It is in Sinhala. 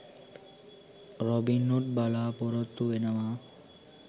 රොබින්හූඩ් බලපොරොත්තු වෙනවා.